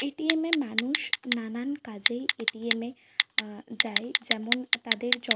ATM. -এ মানুষ নানানা কাজে এ.টি.এম. - এ আহ যায় যেমন তাদের য --